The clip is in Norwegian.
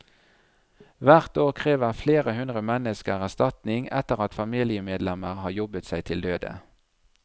Hvert år krever flere hundre mennesker erstatning etter at familiemedlemmer har jobbet seg til døde.